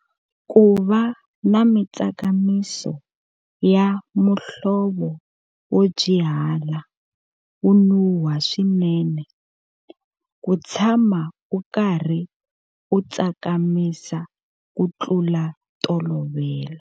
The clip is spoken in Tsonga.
Ku va na mitsakamiso ya muhlovo wo byihala, wo nuha swinene. Ku tshama u karhi u tsakamisa ku tlula ntolovelo.